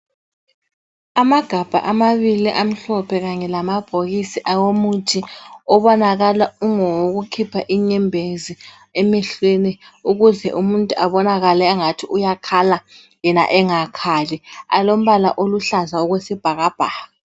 Amagabha amabili amhlophe kanye lamabhokisi awomuthi obonakala ungowokukhipha inyembezi emehlweni. Ukuze umuntu abonakale engathi uyakhala yena engakhali alombala oluhlaza okwesibhakabhaka.